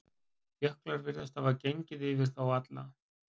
Jöklar virðast hafa gengið yfir þá alla.